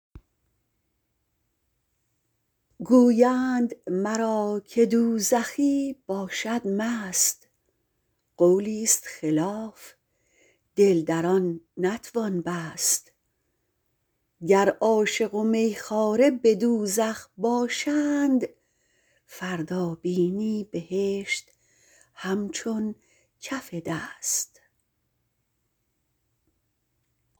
گویند مرا که دوزخی باشد مست قولی ست خلاف دل در آن نتوان بست گر عاشق و می خواره به دوزخ باشند فردا بینی بهشت همچون کف دست